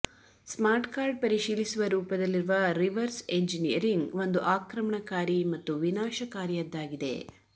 smart card ಪರಿಶೀಲಿಸುವ ರೂಪದಲ್ಲಿರುವ reverse engineering ಒಂದು ಆಕ್ರಮಣಕಾರಿ ಮತ್ತು ವಿನಾಶಕಾರಿಯದ್ದಾಗಿದೆ